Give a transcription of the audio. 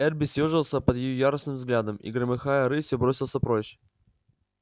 эрби съёжился под её яростным взглядом и громыхая рысью бросился прочь